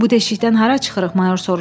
Bu deşikdən hara çıxırıq, mayor soruşdu.